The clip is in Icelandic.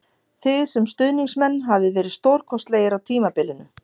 Þið sem stuðningsmenn hafið verið stórkostlegir á tímabilinu